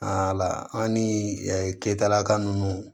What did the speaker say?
Aa an ni ɛ ketalaka ninnu